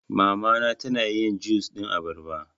Mama na ta na yin jus ɗin abarba